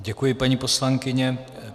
Děkuji, paní poslankyně.